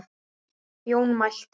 Jón mælti